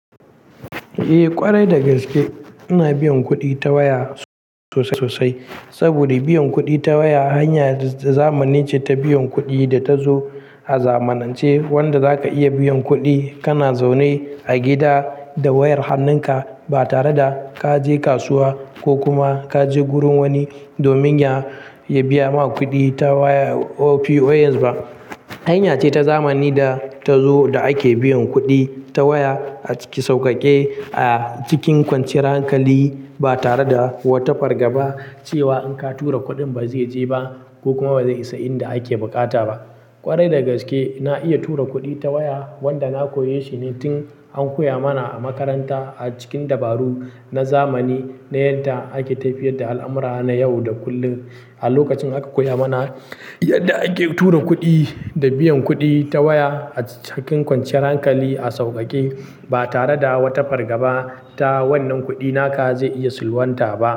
Eh ƙwarai dagaske ina biyan kuɗi ta waya sosai sosai saboda biyan kuɗi ta waya hanya zamani ce ta biyan kuɗi da ta zo a zamanance wanda zaka iya biyan kuɗi kana zaune a gida da wayar hannunka ba tare da kaje kasuwa ko kuma kaje gurin wani domin ya biya ma kuɗi ta waya or POS ba. Hanya ce ta zamani da ta zo da ake biyan kuɗi ta waya a cikin sauƙaƙe a cikin kwanciyar hankali ba tare da wata fargaba cewa in ka tura kuɗin ba zai je ba ko kuma ba zai isa inda ake buƙata ba. Ƙwarai dagaske na iya tura kuɗi ta waya wanda na koyi shine tun an koya mana a makaranta a cikin dabaru na zamani na yadda ake tafiyar da al'amura na yau da kullum. A lokacin aka koya mana yadda ake tura kuɗi da biyan kuɗi ta waya acikin kwanciyar hankali a sauƙaƙe ba tare da wata fargaba ta wannan kuɗi naka zai iya salwanta ba.